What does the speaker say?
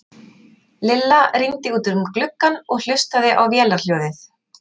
Lilla rýndi út um gluggann og hlustaði á vélarhljóðið.